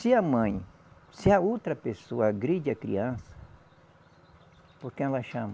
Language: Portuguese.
Se a mãe, se a outra pessoa agride a criança, por quem ela chama?